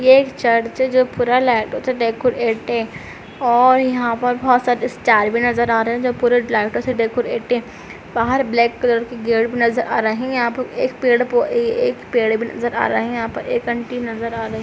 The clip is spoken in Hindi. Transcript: ये एक चर्च जो पूरा लाइटों से डेकोरेट है और यहाँ पर बहुत सारे स्टार भी नज़र आ रहे हैं जो पूरे लाइटों से डेकोरेट है। बाहर ब्लैक कलर की गेट भी नज़र आ रहे हैं। यहाँ एक पेड़ पौ एक पेड़ भी नज़र आ रहे हैं। यहाँ पर एक आंटी नज़र आ रही हैं।